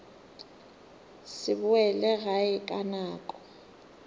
se boele gae ka nako